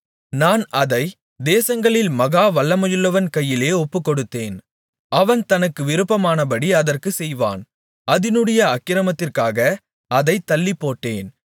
நான் அதைத் தேசங்களில் மகா வல்லமையுள்ளவன் கையிலே ஒப்புக்கொடுத்தேன் அவன் தனக்கு விருப்பமானபடி அதற்குச் செய்வான் அதினுடைய அக்கிரமத்திற்காக அதைத் தள்ளிப்போட்டேன்